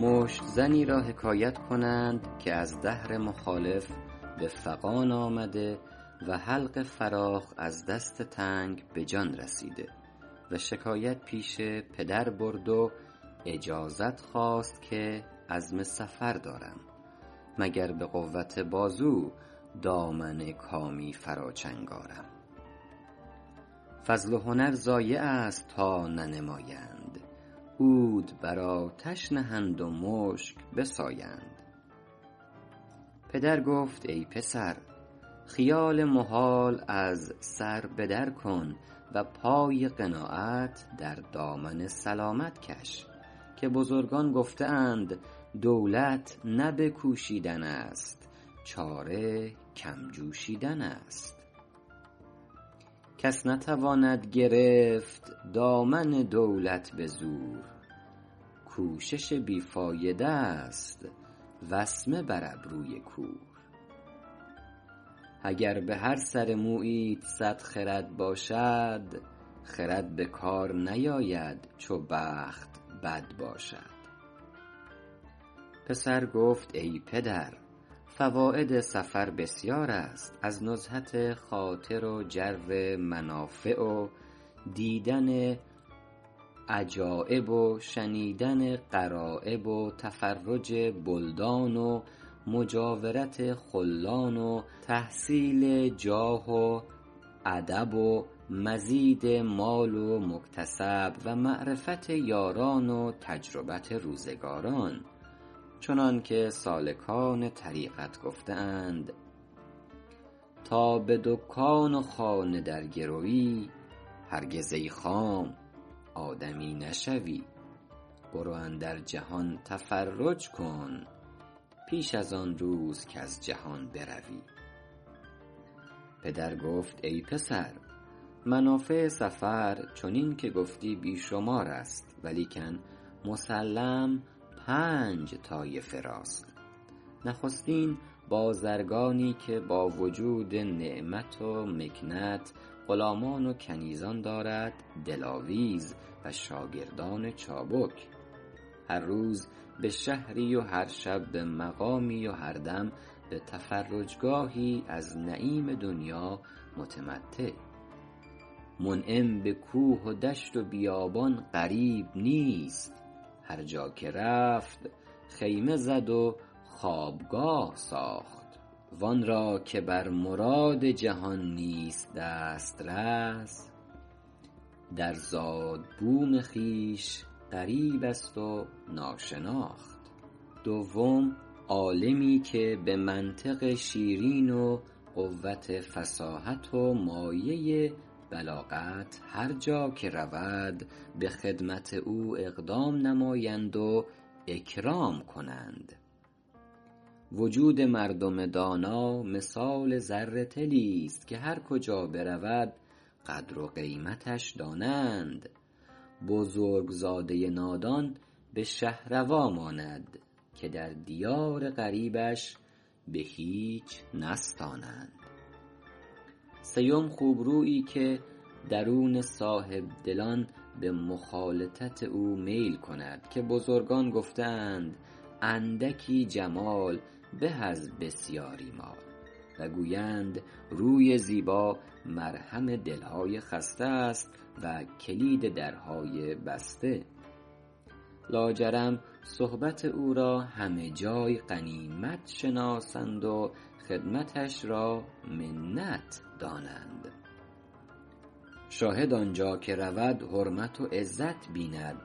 مشت زنی را حکایت کنند که از دهر مخالف به فغان آمده و حلق فراخ از دست تنگ به جان رسیده شکایت پیش پدر برد و اجازت خواست که عزم سفر دارم مگر به قوت بازو دامن کامی فرا چنگ آرم فضل و هنر ضایع است تا ننمایند عود بر آتش نهند و مشک بسایند پدر گفت ای پسر خیال محال از سر به در کن و پای قناعت در دامن سلامت کش که بزرگان گفته اند دولت نه به کوشیدن است چاره کم جوشیدن است کس نتواند گرفت دامن دولت به زور کوشش بی فایده ست وسمه بر ابروی کور اگر به هر سر موییت صد خرد باشد خرد به کار نیاید چو بخت بد باشد پسر گفت ای پدر فواید سفر بسیار است از نزهت خاطر و جر منافع و دیدن عجایب و شنیدن غرایب و تفرج بلدان و مجاورت خلان و تحصیل جاه و ادب و مزید مال و مکتسب و معرفت یاران و تجربت روزگاران چنانکه سالکان طریقت گفته اند تا به دکان و خانه درگروی هرگز ای خام آدمی نشوی برو اندر جهان تفرج کن پیش از آن روز کز جهان بروی پدر گفت ای پسر منافع سفر چنین که گفتی بی شمار است ولیکن مسلم پنج طایفه راست نخستین بازرگانی که با وجود نعمت و مکنت غلامان و کنیزان دارد دلاویز و شاگردان چابک هر روز به شهری و هر شب به مقامی و هر دم به تفرجگاهی از نعیم دنیا متمتع منعم به کوه و دشت و بیابان غریب نیست هر جا که رفت خیمه زد و خوابگاه ساخت و آن را که بر مراد جهان نیست دسترس در زاد و بوم خویش غریب است و ناشناخت دوم عالمی که به منطق شیرین و قوت فصاحت و مایه بلاغت هر جا که رود به خدمت او اقدام نمایند و اکرام کنند وجود مردم دانا مثال زر طلی ست که هر کجا برود قدر و قیمتش دانند بزرگ زاده نادان به شهروا ماند که در دیار غریبش به هیچ نستانند سیم خوبرویی که درون صاحب دلان به مخالطت او میل کند که بزرگان گفته اند اندکی جمال به از بسیاری مال و گویند روی زیبا مرهم دل های خسته است و کلید درهای بسته لاجرم صحبت او را همه جای غنیمت شناسند و خدمتش را منت دانند شاهد آنجا که رود حرمت و عزت بیند